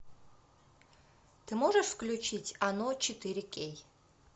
ты можешь включить оно четыре кей